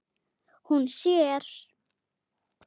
Hún sér